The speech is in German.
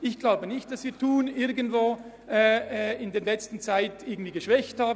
Ich glaube nicht, dass wir Thun in der letzten Zeit in irgendeiner Weise geschwächt haben.